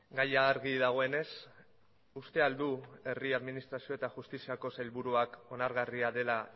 gaia argi dagoenez uste ahal du herri administrazio eta justiziako sailburuak onargarria dela